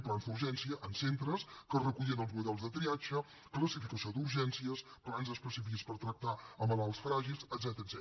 plans d’urgència en centres que recullin els models de triatge classificació d’urgències plans específics per tractar malalts fràgils etcètera